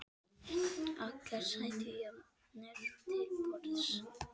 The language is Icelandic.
Allir sætu jafnir til borðs.